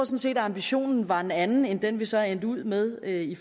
set at ambitionen var en anden end den vi så er endt ud med i